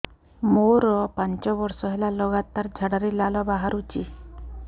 ମୋରୋ ପାଞ୍ଚ ବର୍ଷ ହେଲା ଲଗାତାର ଝାଡ଼ାରେ ଲାଳ ବାହାରୁଚି